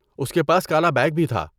اس کے پاس کالا بیگ بھی تھا۔